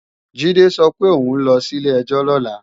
Jídé sọ pé òun ló sí ilé-ẹjọ́ lọ́la